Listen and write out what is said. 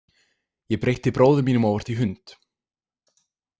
Ég breytti bróður mínum óvart í hund.